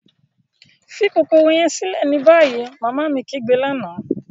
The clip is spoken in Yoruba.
Fi kokoro yẹn silẹ ni bayi! Mama mi kigbe lana.